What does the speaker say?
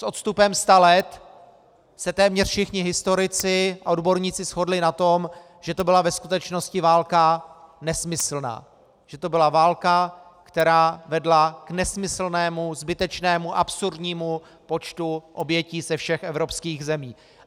S odstupem sta let se téměř všichni historici a odborníci shodli na tom, že to byla ve skutečnosti válka nesmyslná, že to byla válka, která vedla k nesmyslnému, zbytečnému, absurdnímu počtu obětí ze všech evropských zemí.